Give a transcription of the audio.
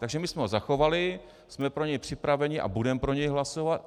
Takže my jsme ho zachovali, jsme pro něj připraveni a budeme pro něj hlasovat.